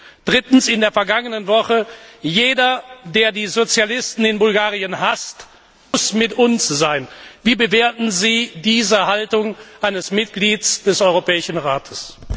Drittens die Aussage in der vergangenen Woche Jeder, der die Sozialisten in Bulgarien hasst, muss mit uns sein. Wie bewerten Sie diese Haltung eines Mitglieds des Europäischen Rates?